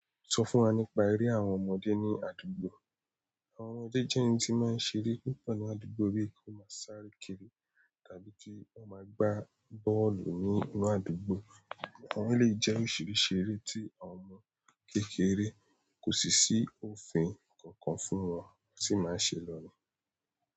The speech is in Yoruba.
Sọ fún wa nípa eré àwọn ọmọdé ní àdúgbò. Àwọn ọmọ jẹ́jẹ́ yẹn tin máa ń ṣeré púpọ̀ ní àdúgbò bí i kó máa sáré kiri tàbí tí kín kọ máa gbá bọ́ọ̀lù nínú àdúgbò. Àwọn iléyi jẹ oríṣiríṣi èrè tí àwọn ọmọ kékeré ko sì sí òfin kàn kàn fún wọn tí máa ń ṣe lọ ní.